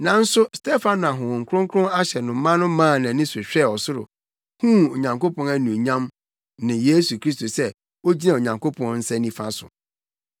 Nanso Stefano a Honhom Kronkron ahyɛ no ma no maa nʼani so hwɛɛ ɔsoro huu Onyankopɔn anuonyam ne Yesu Kristo sɛ ogyina Onyankopɔn nsa nifa so.